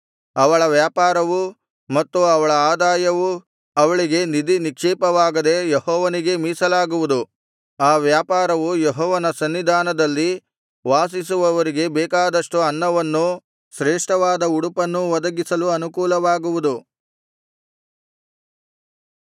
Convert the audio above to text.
ಅವಳ ವ್ಯಾಪಾರವೂ ಮತ್ತು ಅವಳ ಆದಾಯವೂ ಅವಳಿಗೆ ನಿಧಿನಿಕ್ಷೇಪವಾಗದೆ ಯೆಹೋವನಿಗೇ ಮೀಸಲಾಗುವುದು ಆ ವ್ಯಾಪಾರವು ಯೆಹೋವನ ಸನ್ನಿಧಾನದಲ್ಲಿ ವಾಸಿಸುವವರಿಗೆ ಬೇಕಾದಷ್ಟು ಅನ್ನವನ್ನೂ ಶ್ರೇಷ್ಠವಾದ ಉಡುಪನ್ನೂ ಒದಗಿಸಲು ಅನುಕೂಲವಾಗುವುದು